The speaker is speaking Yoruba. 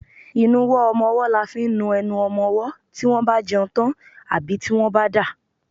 Ìnuwọ́ ọmọwọ́ là fi ń nu enu ọmọmọ́ tí wọ́n bá jẹun tán àbí tí wọ́n bá ń dà.